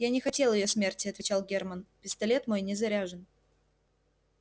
я не хотел её смерти отвечал герман пистолет мой не заряжен